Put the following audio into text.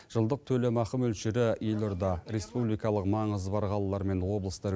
жылдық төлемақы мөлшері елорда республикалық маңызы бар қалалар мен облыстар